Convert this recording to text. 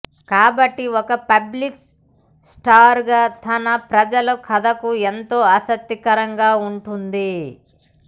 కాబట్టి ఒక public star గా తన ప్రజల కథకు ఎంతో ఆసక్తికరంగా ఉంటుంది